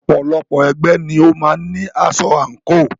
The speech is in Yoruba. Ọ̀pọ̀lọpọ̀ ẹgbẹ́ ni ó máa ń ní aṣọ àǹkò.